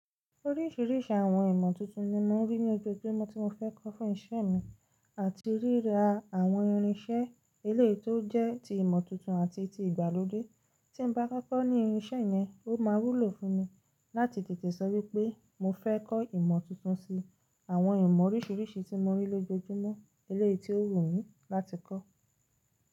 Oríṣìíríṣìí àwọn ìmọ̀ tuntun ni mò ń rí ní ojoojumo tí mo fẹ́ kọ́ fún ìṣe mi àti ríra àwọn irinṣẹ́ eléèyi tó jẹ́ ti ìmọ̀ tuntun àti ti ìgbàlódé tí n bá kọ́kọ́ ní irinṣẹ́ yẹn ó máa wúlò fún mi láti tètè sọ wípé mo fẹ́ kọ́ ìmọ̀ tuntun sí àwọn ìmọ̀ oríṣìíríṣìí tí mò ń rí lójoojúmọ́ eléèyi tí ó wù mí láti kọ́.